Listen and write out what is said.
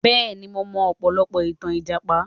Bẹ́ẹ̀ni mo mọ ọ̀pọ̀lọpọ̀ ìtàn Ìjàpá